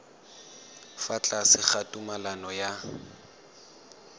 fa tlase ga tumalano ya